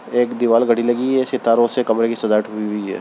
एक दीवाल घड़ी लगी है सितारो से कमरे की सजावट हुई है।